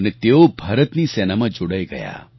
અને તેઓ ભારતની સેનામાં જોડાઈ ગયા